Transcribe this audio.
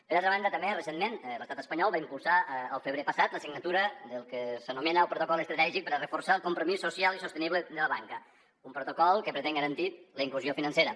per altra banda també recentment l’estat espanyol va impulsar al febrer passat la signatura del que s’anomena el protocol estratègic per a reforçar el compromís social i sostenible de la banca un protocol que pretén garantir la inclusió financera